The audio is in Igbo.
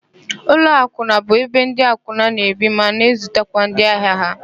Ụlọakwụna bụ ebe ndị akwụna na-ebi ma na-ezutakwa ndị ahịa ha.